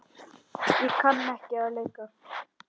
Ég kann ekki að leika.